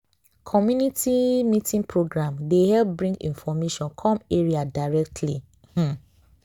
community meeting program dey help bring information come area directly. um